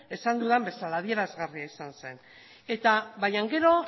esan dudan bezala adierazgarria izan zen baina gero